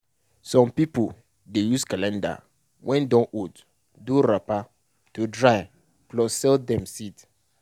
some people dey use calendar wey don old do wrapper to dry plus sell dem seed.